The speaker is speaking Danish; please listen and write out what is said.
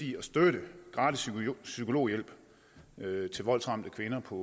i at støtte gratis psykologhjælp til voldsramte kvinder på